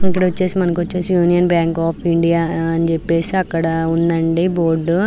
ఇప్పుడు వచ్చేసి Union Bank of India అని చెప్పేసి అక్కడ ఉంది అండి బోర్డు .